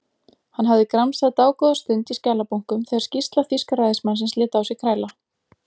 Hann hafði gramsað dágóða stund í skjalabunkum þegar skýrsla þýska ræðismannsins lét á sér kræla.